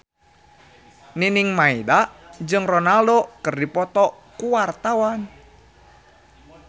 Nining Meida jeung Ronaldo keur dipoto ku wartawan